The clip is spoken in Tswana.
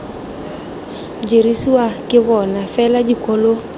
dirisiwang ke bona fela dikolo